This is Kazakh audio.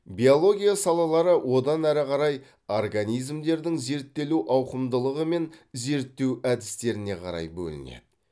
биология салалары одан әрі қарай организмдердің зерттелу ауқымдылығы мен зерттеу әдістеріне қарай бөлінеді